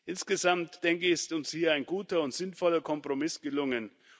Insgesamt, denke ich, ist uns ein guter und sinnvoller Kompromiss gelungen.